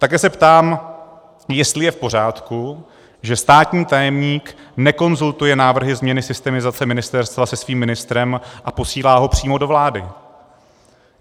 Také se ptám, jestli je v pořádku, že státní tajemník nekonzultuje návrhy změny systemizace ministerstva se svým ministrem a posílá ho přímo do vlády.